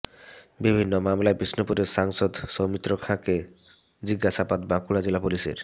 বিভিন্ন মামলায় বিষ্ণুপুরের সাংসদ সৌমিত্র খাঁকে জিজ্ঞাসাবাদ বাঁকুড়া জেলা পুলিশের